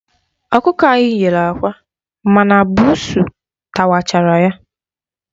Ọkụkọ anyị nyere àkwá ma na buusu tawachara ya.